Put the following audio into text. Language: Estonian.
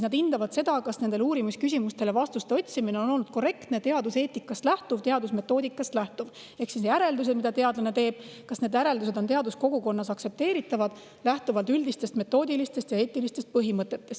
Nad hindavad, kas nendele uurimisküsimustele vastuste otsimine on olnud korrektne, lähtub teaduseetikast ja teadusmetoodikast ehk kas järeldused, mida teadlane teeb, on teaduskogukonnas aktsepteeritavad lähtuvalt üldistest metoodilistest ja eetilistest põhimõtetest.